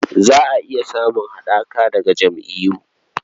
Za a iya samun haɗaka daga jam'iyyu..